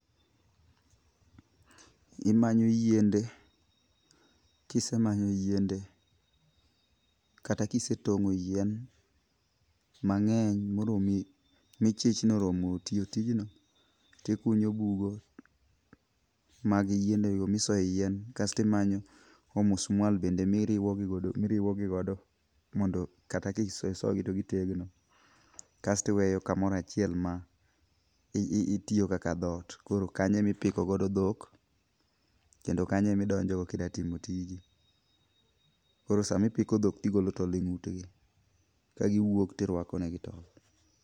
Imanyo yiende. Kisemanyo yiende kata kisetong'o yien mang'eny moromi michich ni oromo tiyo tijno tikunyo bugo mag yiendego misoye yien. Kaesto imanyo omusmal bende miriwogigodo mondo kata kisoyogi to gitegno. Kaesto iweyo kamaro achiel ma itiyogo kaka dhot. Koro kanyo e piko godo dhok kendo kanyo e midonjogo ka ida timo tiji. Koro samipiko dhok tigolo tol eng'ut gi. Kagiwuok tirwako negi tol.